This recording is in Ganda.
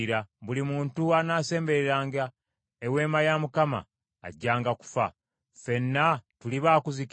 Buli muntu anaasembereranga Eweema ya Mukama ajjanga kufa. Ffenna tuli ba kuzikirira?”